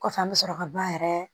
Kɔfɛ an bɛ sɔrɔ ka ba yɛrɛ